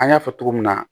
An y'a fɔ cogo min na